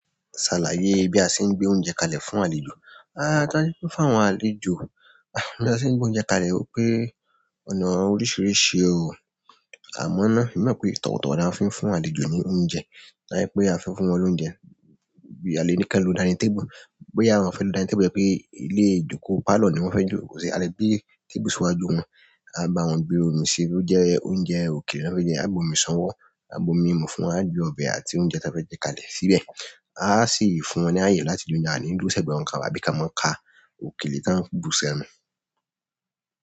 Àlàyé bí a ṣe ń gbé oúnjẹ kalẹ̀ fún àlejò. A á kanipe fún àwọn àlejò. Bí a ṣe ń gbé oúnjẹ kalẹ̀, ó pé ọ̀nà oríṣìíríṣìí o. Àmọ́ náà, emi mọ̀ pé tọ̀wọ̀tọ̀wọ̀ ni a fi ń fún àlejò ní oúnjẹ. Kanipé a fẹ́ fún wọn lóúnjẹ bí à lé ní ki wọn ló dinning table. Boya wọn fẹ́ lo dinning table yẹn pé ilé-ìjókòó parlour ni wọ́n fẹ́ jókòó sí. A lè gbé table síwájú wọn. A bá wọn gbe omi si, bo jẹ́ oúnjẹ òkèlè ni wọ́n fẹ́ jẹ. A bu omi isanwọ́, a bu omi mimú fún wọn, a gbe ọbẹ̀ àti oúnjẹ tí a fẹ́ jẹ kalẹ̀ síbẹ̀. A á sì fún wọn láyè láti jẹ oúnjẹ, a o ni dúró sẹ́gbẹ̀ẹ́ wọn ká ba, àbí ka mọ́ ka òkèlè tá ń bu sẹ́nu.